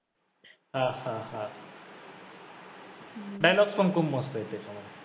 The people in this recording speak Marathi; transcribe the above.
हा हा हा dialogue पण खूप मस्त आहे त्याच्यामध्ये